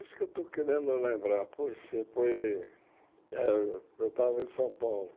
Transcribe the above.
Isso que eu estou querendo lembrar, pois sim, foi... É eu estava em São Paulo.